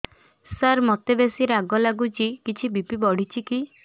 ସାର ମୋତେ ବେସି ରାଗ ଲାଗୁଚି କିଛି ବି.ପି ବଢ଼ିଚି କି